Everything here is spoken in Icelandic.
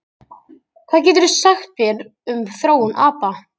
hvað geturðu sagt mér um þróun apa